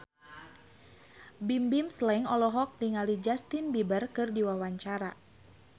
Bimbim Slank olohok ningali Justin Beiber keur diwawancara